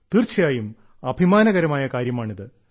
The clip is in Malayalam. തീർച്ചയായും അഭിമാനകരമായ കാര്യമാണിത്